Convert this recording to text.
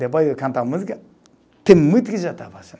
Depois eu canto a música, tem muito